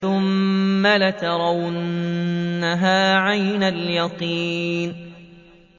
ثُمَّ لَتَرَوُنَّهَا عَيْنَ الْيَقِينِ